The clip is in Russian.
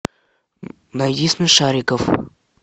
найди смешариков